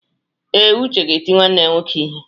Ee, Uche ga-eti nwanne ya nwoke ihe.